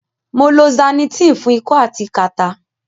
Mo lo Zanitin fun iko ati kata